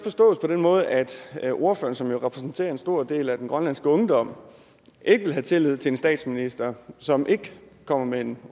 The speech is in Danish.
forstås på den måde at at ordføreren som jo repræsenterer en stor del af den grønlandske ungdom ikke vil have tillid til en statsminister som ikke kommer med en